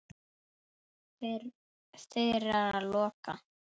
Þeirra lokað.